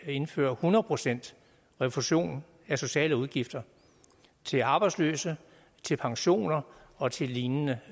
at indføre hundrede procent refusion af sociale udgifter til arbejdsløse til pensioner og til lignende